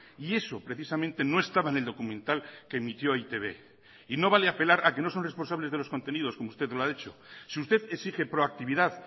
y eso precisamente no estaba en el documental que emitió e i te be y no vale apelar a que no son responsables de los contenidos como usted lo ha hecho si usted exige proactividad